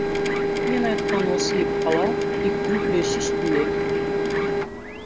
мен айтқан осы екі қалау тілектің күресі үстінде